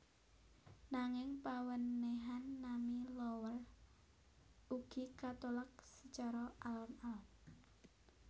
Nanging pawènèhan nami Lowell ugi katolak sacara alon alon